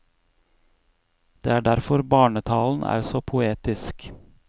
Det er derfor barnetalen er så poetisk.